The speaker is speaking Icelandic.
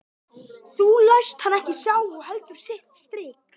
Það læst hann ekki sjá og heldur sitt strik.